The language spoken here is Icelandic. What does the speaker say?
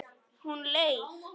Hún er leið.